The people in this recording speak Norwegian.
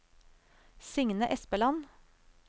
Signe Espeland